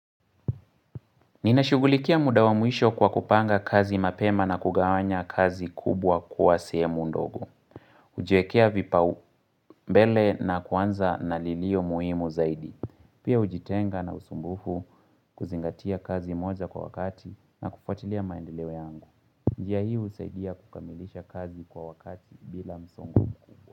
Ninashughulikia mudawamwisho kwa kupanga kazi mapema na kugawanya kazi kubwa kuwa sehemu ndogo. hUjiekea vipaumbele na kuanza na lilio muhimu zaidi. Pia hujitenga na usumbufu kuzingatia kazi moja kwa wakati na kufwatilia maendeleo yangu. Njia hiih usaidia kukamilisha kazi kwa wakati bila msongo kubwa.